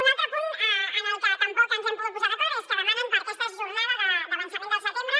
un altre punt en el que tampoc ens hem pogut posar d’acord és que demanen per a aquesta jornada d’avançament del setembre